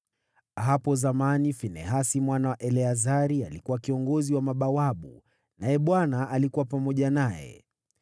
Hapo zamani Finehasi mwana wa Eleazari alikuwa kiongozi wa mabawabu, naye Bwana alikuwa pamoja naye: